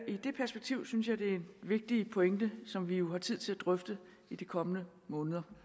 i det perspektiv synes jeg det er en vigtig pointe som vi jo har tid til at drøfte i de kommende måneder